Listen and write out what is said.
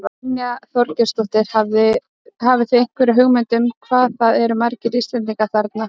Brynja Þorgeirsdóttir: Hafið þið einhverja hugmynd um hvað það eru margir Íslendingar þarna?